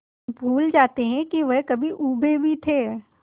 भूल जाते हैं कि वह कभी ऊबे भी थे